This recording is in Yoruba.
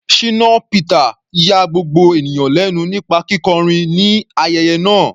Shina Peter ya gbogbo ènìyàn lẹ́nu nípa kíkọrin ní ayẹyẹ náà.